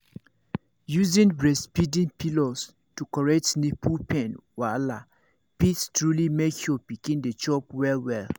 using breastfeeding pillows to correct nipple pain wahala fit truly make your pikin dey chop well well